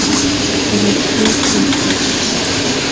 россия три